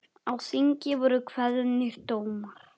Á þingi voru kveðnir dómar.